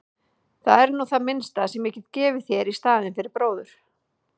Það er nú það minnsta sem ég get gefið þér í staðinn fyrir bróður.